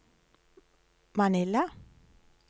Manila